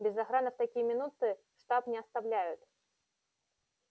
без охраны в такие минуты штаб не оставляют